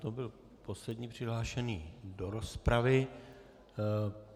To byl poslední přihlášený do rozpravy.